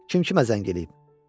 Kim kimə zəng eləyib?